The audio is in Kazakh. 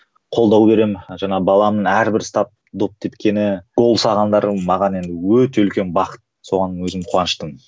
қолдау беремін жаңа баламның әрбір ұстап доп тепкені гол салғандары маған енді өте үлкен бақыт соған өзім қуаныштымын